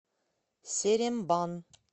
серембан